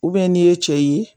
n'i ye cɛ ye